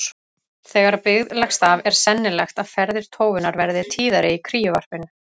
Þegar byggð leggst af er sennilegt að ferðir tófunnar verði tíðari í kríuvarpinu.